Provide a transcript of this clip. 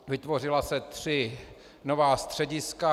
Vytvořila se tři nová střediska.